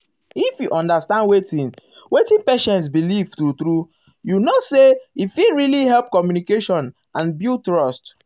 if you um understand wetin wetin patient believe true true you know say he fit really help communication and build trust.